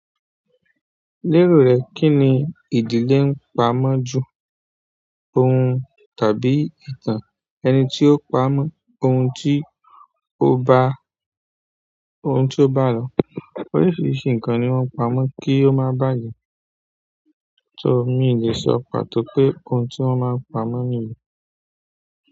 Lérò rẹ, kí ni ìdílé ń pamọ́ jù? Ohun tàbí ìtàn ẹni tí ó pa á mọ́ ohun tí ó bá, ohun tí ó bá lo. Oríṣiríṣi nǹkan ni wọ́n ń pamọ́ kí ó má bàjẹ́. So mi lè sọ pàtó pé ohun tí wọ́n máa ń pamọ́ nìyẹn.